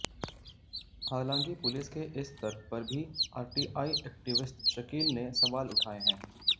हालांकि पुलिस के इस तर्क पर भी आरटीआई एक्टिविस्ट शकील ने सवाल उठाए हैं